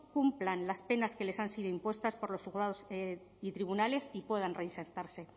cumplan las penas que les han sido impuestas por los juzgados y tribunales y puedan reinsertarse